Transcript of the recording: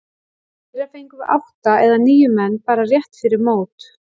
Í fyrra fengum við átta eða níu menn bara rétt fyrir mót.